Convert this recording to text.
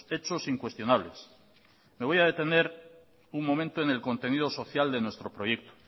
hechos incuestionables me voy a detener un momento en el contenido social de nuestro proyecto